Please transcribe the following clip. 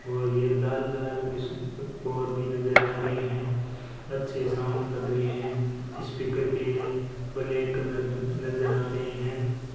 और मुझे लाल लाल और भी नजर आ रहे हैं अच्छे साउंड लग रहे हैं स्पीकर के ब्लैक कलर नजर आ रहे हैं।